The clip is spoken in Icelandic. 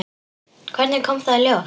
Hvernig kom það í ljós?